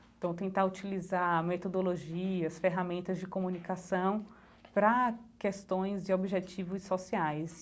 Então, tentar utilizar metodologias, ferramentas de comunicação para questões e objetivos sociais.